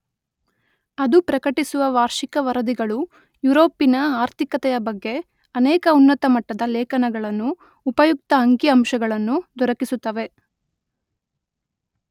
ಅದು ಪ್ರಕಟಿಸುವ ವಾರ್ಷಿಕ ವರದಿಗಳು ಯುರೋಪಿನ ಆರ್ಥಿಕತೆಯ ಬಗ್ಗೆ ಅನೇಕ ಉನ್ನತಮಟ್ಟದ ಲೇಖನಗಳನ್ನೂ ಉಪಯುಕ್ತ ಅಂಕಿ ಅಂಶಗಳನ್ನೂ ದೊರಕಿಸುತ್ತವೆ.